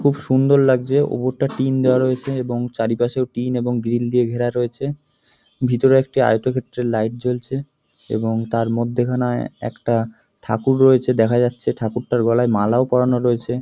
খুব সুন্দর লাগছে উপরটা টিন দেওয়া রয়েছে এবং চারিপাশে টিন এবং গ্রিল দিয়ে ঘেরা রয়েছে। ভিতরে একটি আয়তক্ষেত্রের লাইট জ্বলছে এবং তার মধ্যেখানে একটা ঠাকুর রয়েছে দেখা যাচ্ছে ঠাকুরটার গলায় মালাও পরানো রয়েছে।